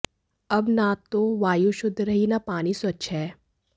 अब न तो वायु शुद्ध रही न पानी स्वच्छ है